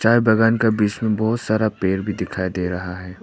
चाय बागान का बीच में बहौत सारा पेड़ भी दिखाई दे रहा है।